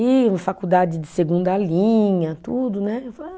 E faculdade de segunda linha, tudo, né?